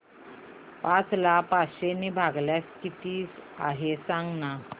पाच ला पाचशे ने भागल्यास किती आहे सांगना